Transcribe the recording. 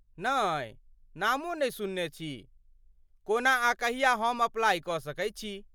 नै ,नामो नहि सुनने छी। कोना आ कहिया हम अप्लाई क सकैत छी ?